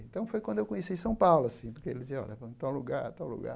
Então foi quando eu conheci São Paulo, assim, porque ele dizia, olha, vamos em tal lugar, tal lugar.